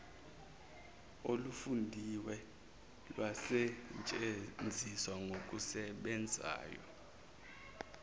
olufundiwe lwasetshenziswa ngokusebenzayo